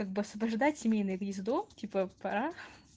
как бы освобождать семейное гнездо типа пора